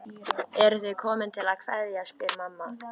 Eruð þið komin til að kveðja, spyr mamma.